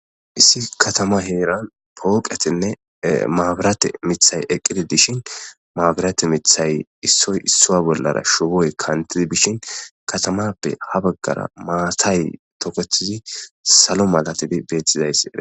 Issi katama heeran pooqetinne maabirate mithay eqqidi dishin maabirate mithay issoy isso bollara shuwoy kantidi bishin katamappe ha baggara maatay toketizi salo malatidi beettizayssi.